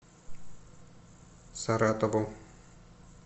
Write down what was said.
саратову